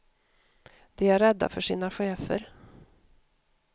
De är rädda för sina chefer.